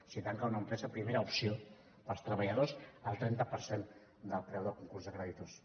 si tanca una empresa primera opció els treballadors el trenta per cent del preu del concurs de creditors